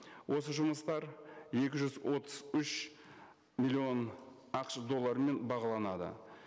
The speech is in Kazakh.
осы жұмыстар екі жүз отыз үш миллион ақш долларымен бағаланады